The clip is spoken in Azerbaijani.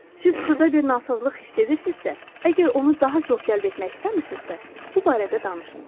Siz xırda bir nasazlıq hiss edirsinizsə, əgər onu daha çox cəlb etmək istəmirsinizsə, bu barədə danışmayın.